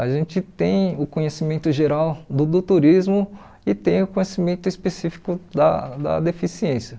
A gente tem o conhecimento geral do do turismo e tem o conhecimento específico da da deficiência.